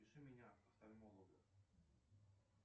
запиши меня к офтальмологу